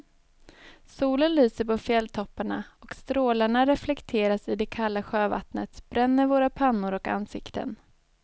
Solen lyser på fjälltopparna och strålarna reflekteras i det kalla sjövattnet, bränner våra pannor och ansikten.